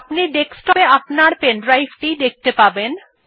আপনি ডেস্কটপ এ আপনার pen ড্রাইভ টি দেখতে পাচ্ছেন